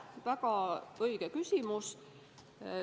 Väga õige küsimus.